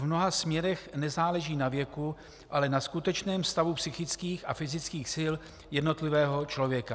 V mnoha směrech nezáleží na věku, ale na skutečném stavu psychických a fyzických sil jednotlivého člověka.